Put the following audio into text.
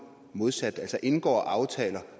modsat altså indgår aftaler